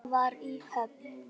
Sögur að sunnan.